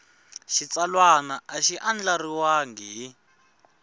xitsalwana a xi andlariwangi hi